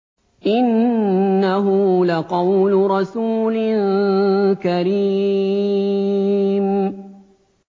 إِنَّهُ لَقَوْلُ رَسُولٍ كَرِيمٍ